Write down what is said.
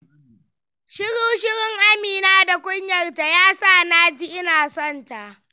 Shiru-shirun Amina da kunyarta, ya sa na ji ina sonta.